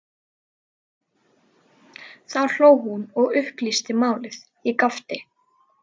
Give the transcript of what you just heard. Þá hló hún og upplýsti málið, ég gapti.